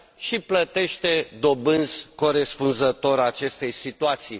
și plătește dobânzi corespunzătoare acestei situații.